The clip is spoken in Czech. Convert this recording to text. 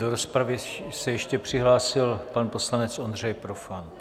Do rozpravy se ještě přihlásil pan poslanec Ondřej Profant.